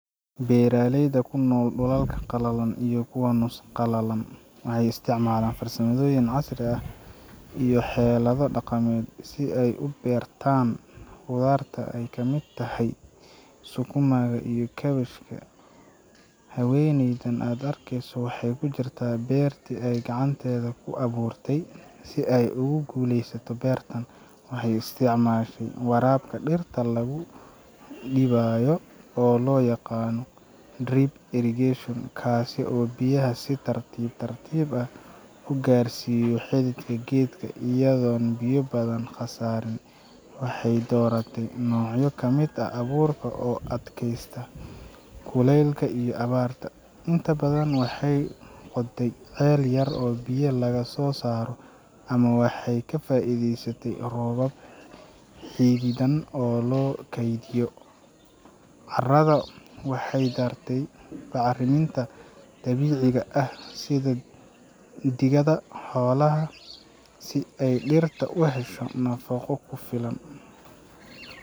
Baarley ku nool dhulalka qalalan iyo kuwan nusqalalam ay isticmaalaan farsamadooyin casri ah iyo xelada dhaqameed si ay u beertaan khudaarta ay ka mid tahay sukumaaga iyo kabashka. Ha weyni dan adk soo hay agta beertu ay gacanteeda ku abuurtey si ay ugu guuleysato beertan. Waxay isticmaashay waraaqka dhirta lagu dhibaayo oo loo yaqaano drip irrigation kaasi oo biyaha si tartiib tartiib ah u gaarsiiyo xidigga geedka iyadoo biyo badan khasaari waxay dooratay noocyo kamida abuurka oo adkaysta kulaylka iyo abaarta. Inta badan waxay qodtay qeeliyar oo biyo laga soo saaro ama waxay ka faaiidiisatay roobab xiididan oo loo keydiyo. Carrada waxay dartey bacriminta dabiiciga ah sida digada hawlaha si ay dhirta u hesho nafooko filan.